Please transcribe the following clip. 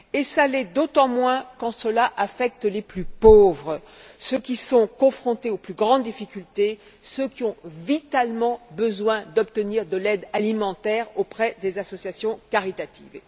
Et ça l'est d'autant moins quand cela affecte les plus pauvres, ceux qui sont confrontés aux plus grandes difficultés et ceux qui ont, vitalement, besoin d'obtenir de l'aide alimentaire auprès des associations caritatives.